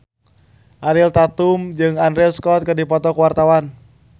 Ariel Tatum jeung Andrew Scott keur dipoto ku wartawan